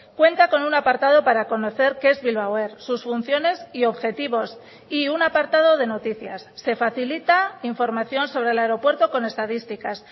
cuenta con un apartado para conocer qué es bilbao air sus funciones y objetivos y un apartado de noticias se facilita información sobre el aeropuerto con estadísticas